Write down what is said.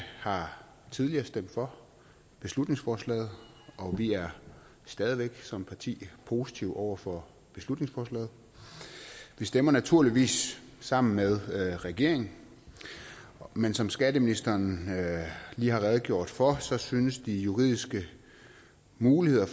har tidligere stemt for beslutningsforslaget og vi er stadig væk som parti positiv over for beslutningsforslaget vi stemmer naturligvis sammen med regeringen men som skatteministeren lige har redegjort for synes de juridiske muligheder